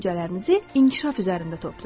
Düşüncələrinizi inkişaf üzərində toplayın.